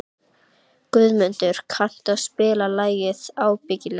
Guðmunda, kanntu að spila lagið „Ábyggilega“?